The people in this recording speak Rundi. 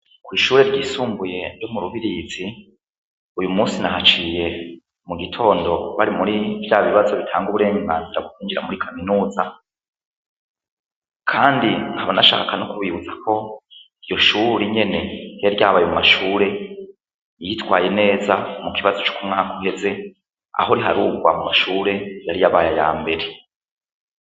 Kw'ishure ryisumbuye ryo mu Rubirizi uyu musi nahaciye mu gitondo bari muri vya bibazo bitanga uburenganzira bwo kwinjira muri kaminuza, kandi nkaba nashaka no kubibutsa ko iryo shuri nyene ryari ryabaye mu mashure yitwaye neza mu kibazo c'ukumwaka uheze aho riharurwa mu mashure yari yabaye ayambere.